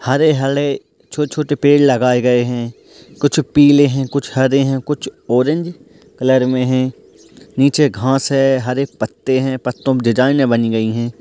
हरे-हरे छोटे-छोटे पेड़ लगाए गए हैं कुछ पीले हैं कुछ हरे हैं कुछ औरेंज कलर में हैं निचे घास है हरे पत्ते हैं पत्तों में डिज़ाइनें बनी गई हैं।